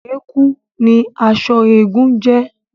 Ẹ̀kú ni aṣọ eégún ń jẹ́